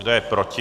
Kdo je proti?